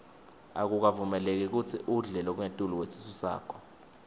akukavumeleki kutsi udle lokungetulu kwesisu sakho